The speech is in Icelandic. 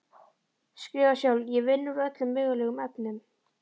Skrifar sjálf: Ég vinn úr öllum mögulegum efnum.